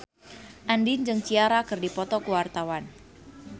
Andien jeung Ciara keur dipoto ku wartawan